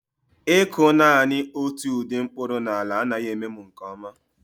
Ịkụ naanị otu ụdị mkpụrụ na ala anaghị eme m nke ọma